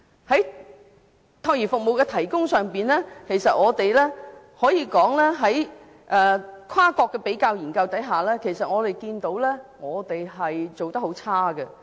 在託兒服務的提供上，根據一些跨國的比較研究，我們看到香港做得很差。